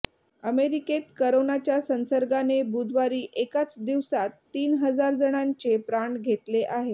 अमेरिकेत करोनाच्या संसर्गाने बुधवारी एकाच दिवसात तीन हजारजणांचे प्राण घेतले आहे